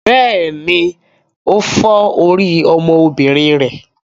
Bẹ́ẹ̀ni, ó fọ́ orí ọmọbìnrin rẹ.